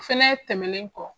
Fɛnɛ tɛmɛnen kɔ